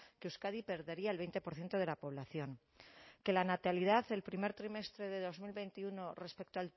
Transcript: que euskadi perdería el veinte por ciento de la población que la natalidad el primer trimestre de dos mil veintiuno respecto